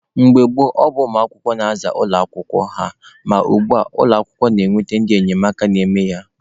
Mgbe gboo, ọ bụ ụmụ akwụkwọ na-aza ụlọ akwụkwọ ha, ma ugbua, ụlọ akwụkwọ na-eweta ndị enyemaka na-eme ya.